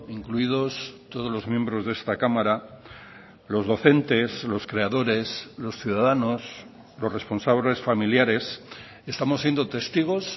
incluidos todos los miembros de esta cámara los docentes los creadores los ciudadanos los responsables familiares estamos siendo testigos